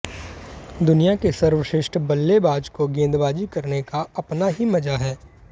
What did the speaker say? दुनिया के सर्वश्रेष्ठ बल्लेबाज को गेंदबाजी करने का अपना ही मजा है